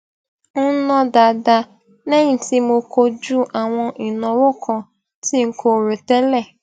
ń ná dáadáa léyìn tí mo kojú àwọn ìnáwó kan tí n kò rò tẹlẹ